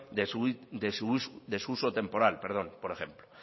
de su uso temporal por ejemplo